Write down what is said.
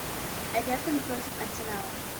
эвертон против арсенала